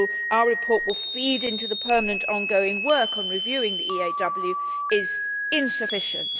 our report will feed into the permanent ongoing work on reviewing the EAW is insufficient.